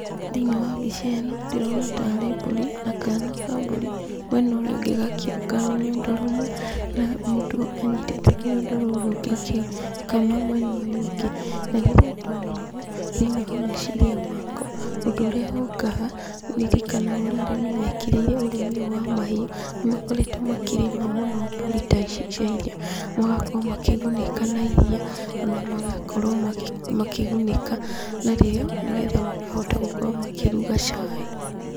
Thĩiniĩ wa mbica ĩno ndĩrona tarĩ mbũri, na kaana ka mbũri mwena ũrĩa ũngĩ gakĩonga rũnyondo rũmwe, na mũndũ anyitĩte rũnyondo rũu rũngĩ agĩkama mwena ũyũ ũngĩ, na rĩrĩa ndona ũũ thĩiniĩ wa meciria makwa, ũndũ ũrĩa ũkaga, ndĩrikanaga ũrĩa arĩmi mekĩrĩire ũrĩmi ũyũ wa mahiũ, nĩ makoretwo makĩrĩma mũno mbũri ta ici cia iria, magakorwo makĩgunĩka na iria, ona magakorwo makĩgunĩka narĩo, nĩgetha makahota gukorwo makĩruga cai.